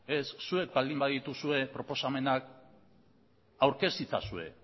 ez zuek baldin badituzue proposamenak aurkez itzazue